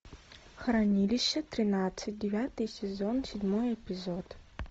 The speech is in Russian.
хранилище тринадцать девятый сезон седьмой эпизод